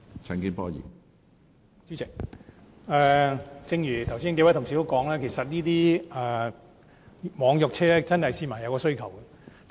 主席，正如剛才數位同事也提到，市民對於網約車服務確有需求。